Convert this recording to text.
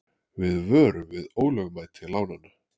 Við vöruðum við ólögmæti lánanna